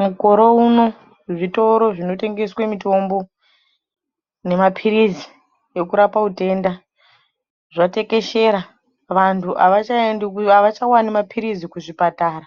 Mukore uno zvitoro zvinotengeswe mitombo nemapirizi ekurapa utenda zvatekeshera vantu avachawani mapirizi muchipatara